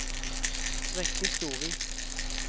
Wenche Storvik